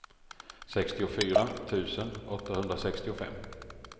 sextiofyra tusen åttahundrasextiofem